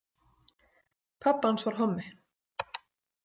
Pabbi hans var hommi.